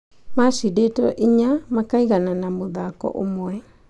Macindĩtwo inya makaiganana mũthako ũmwe.